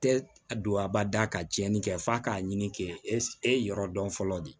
Tɛ don a bada ka tiɲɛni kɛ f'a k'a ɲini k'e e yɔrɔ dɔn fɔlɔ de